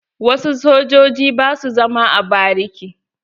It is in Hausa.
Wasu sojojin ba su zama a bariki.